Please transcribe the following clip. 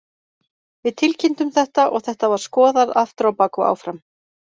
Við tilkynntum þetta og þetta var skoðað aftur á bak og áfram.